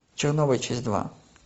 чернобыль часть два